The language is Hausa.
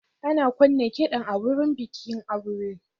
Ana kunna kiɗan a wurin bikin aure.